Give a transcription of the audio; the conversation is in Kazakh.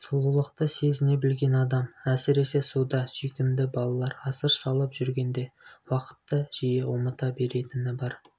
сұлулықты сезіне білген адам әсіресе суда сүйкімді балалар асыр салып жүргенде уақытты жиі ұмыта беретіні бар